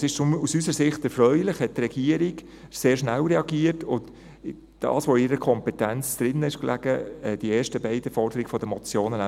Deshalb ist es aus unserer Sicht erfreulich, reagierte die Regierung sehr schnell und erfüllte bereits, was in ihrer Kompetenz lag, nämlich die ersten beiden Forderungen der Motion.